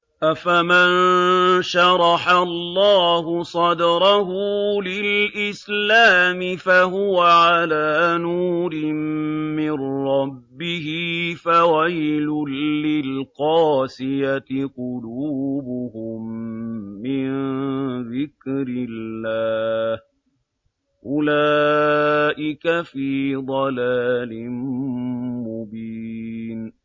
أَفَمَن شَرَحَ اللَّهُ صَدْرَهُ لِلْإِسْلَامِ فَهُوَ عَلَىٰ نُورٍ مِّن رَّبِّهِ ۚ فَوَيْلٌ لِّلْقَاسِيَةِ قُلُوبُهُم مِّن ذِكْرِ اللَّهِ ۚ أُولَٰئِكَ فِي ضَلَالٍ مُّبِينٍ